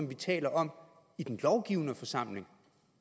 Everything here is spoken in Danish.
vi taler om i den lovgivende forsamling